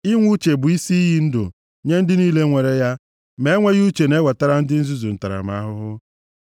Inwe uche bụ isi iyi ndụ nye ndị niile nwere ya, ma enweghị uche na-ewetara ndị nzuzu ntaramahụhụ.